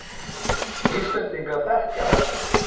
Íslendingar þekkja höllina